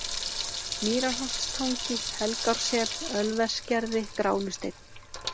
Mýrarholtstangi, Helgársel, Ölversgerði, Gránusteinn